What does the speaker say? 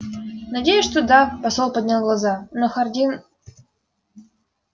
надеюсь что да посол поднял глаза но хардин